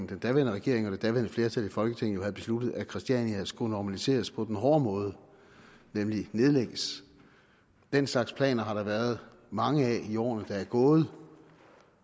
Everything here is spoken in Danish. den daværende regering og det daværende flertal i folketinget havde besluttet at christiania skulle normaliseres på den hårde måde nemlig nedlægges den slags planer har der været mange af i årene der er gået